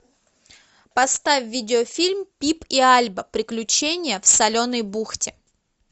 поставь видеофильм пип и альба приключения в соленой бухте